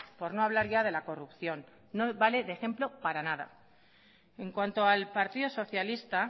por no hablar ya de la corrupción no vale de ejemplo para nada en cuanto al partido socialista